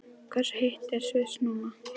Hversu heitt er í Sviss núna?